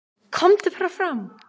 """KOMDU BARA FRAM,"""